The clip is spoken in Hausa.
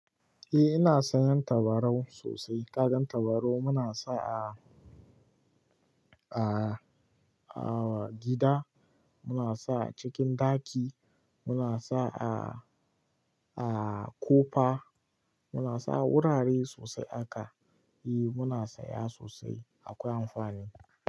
Eh ina sayan tabarau sosai. Kagan tabarau muna sa a-a-a gida, muna sa a cikin ɗaki, muna sa a, a kofa, muna sa a wurare sosai haka. Eh muna saya sosai akwai amfani.